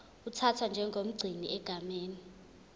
uthathwa njengomgcini egameni